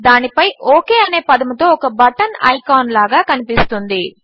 దానిపై ఒక్ అనే పదముతో ఒక బటన్ ఐకాన్ లాగా కనిపిస్తుంది